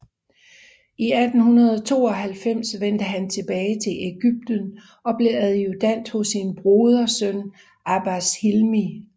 I 1892 vendte han tilbage til Egypten og blev adjudant hos sin brodersøn Abbas Hilmi